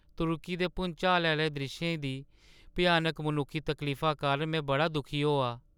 तुर्की दे भुंचाल आह्‌ले द्रिश्शें दी भ्यानक मनुक्खी तकलीफा कारण में बड़ा दुखी होआ।